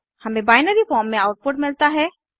हमें binary form में output मिलता है